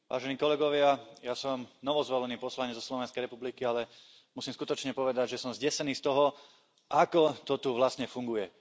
Vážená pani predsedajúca, ja som novozvolený poslanec zo Slovenskej republiky, ale musím skutočne povedať, že som zdesený z toho, ako to tu vlastne funguje.